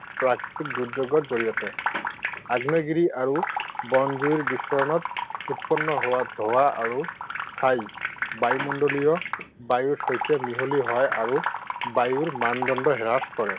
দুৰ্যোগৰ জৰিয়তে। আগ্নেয়গিৰি আৰু বনজুইৰ বিস্ফোৰণত উৎপন্ন হোৱা ধোঁৱা আৰু ছাই বায়ুমণ্ডলীয় বায়ুৰ সৈতে মিহলি হয় আৰু বায়ুৰ মানদণ্ড হ্ৰাস কৰে,